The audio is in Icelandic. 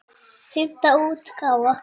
Fimmta útgáfa.